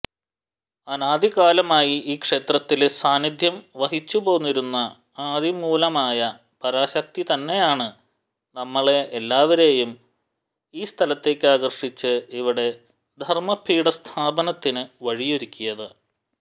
അനാദികാലമായി ഈ ക്ഷേത്രത്തില് സാന്നിദ്ധ്യം വഹിച്ചുപോന്നിരുന്ന ആദിമൂലമായ പരാശക്തിതന്നെയാണ് നമ്മളെ എല്ലാവരേയും ഈ സ്ഥലത്തിലേക്കാകര്ഷിച്ച് ഇവിടെ ധര്മപീഠസ്ഥാപനത്തിന് വഴിയൊരുക്കിയത്